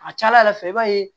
A ka ca ala fɛ i b'a ye